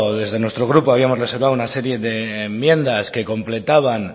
desde nuestro grupo habíamos reservado una serie de enmiendas que completaban